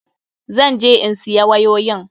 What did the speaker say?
Zan je in siya wayoyin.